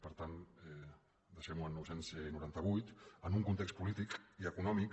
per tant deixem ho en nou cents i noranta vuit en un context polític i econòmic